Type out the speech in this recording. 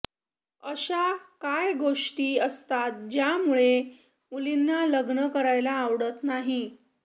अशा काय गोष्टी असतात ज्यामुळे मुलींना लग्न करायला आवडत नाही